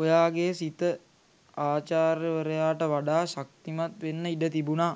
ඔයාගේ සිත ආචාර්ය වරයාට වඩා ශක්තිමත් වෙන්න ඉඩ තිබුනා.